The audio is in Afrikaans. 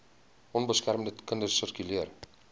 onbeskermde kinders sirkuleer